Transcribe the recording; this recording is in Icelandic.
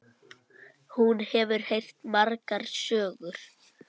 Hún hefur heyrt margar sögur.